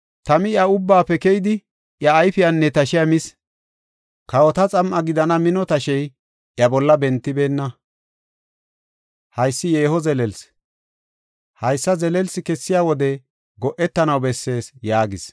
Tami iya ubbaafe keyidi, iya ayfiyanne tashiya mis. Kawota xam7a gidana mino tashey, iya bolla bentibeenna. Haysi yeeho zelelsi; haysa zelelsi kessiya wode go7etanaw bessees” yaagis.